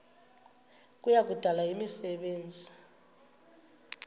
kuya kudala imisebenzi